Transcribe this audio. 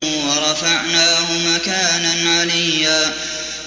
وَرَفَعْنَاهُ مَكَانًا عَلِيًّا